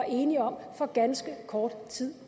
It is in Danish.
enige om for ganske kort tid